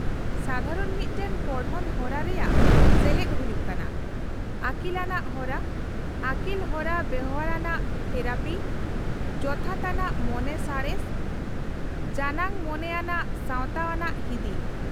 -ᱥᱟᱫᱷᱟᱨᱚᱱ ᱢᱤᱫ ᱴᱟᱝ ᱯᱚᱲᱦᱚᱱ ᱦᱚᱨᱟ ᱨᱮᱭᱟᱜ ᱥᱮᱞᱮᱫ ᱦᱩᱭᱩᱜ ᱠᱟᱱᱟ ᱟᱹᱠᱤᱞᱟᱱᱟᱜ ᱦᱚᱨᱟ, ᱟᱹᱠᱤᱞᱦᱚᱨᱟ ᱵᱮᱣᱦᱟᱨ ᱟᱱᱟᱜ ᱛᱷᱮᱨᱟᱯᱤ, ᱡᱚᱛᱷᱟᱛ ᱟᱱᱟᱜ ᱢᱚᱱᱮ ᱥᱟᱬᱮᱥ, ᱡᱟᱱᱟᱝ ᱢᱚᱱᱮ ᱟᱱᱟᱜ ᱥᱟᱶᱛᱟᱟᱱᱟᱜ ᱦᱤᱫᱤᱡ ᱾